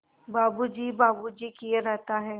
बाबू जी बाबू जी किए रहता है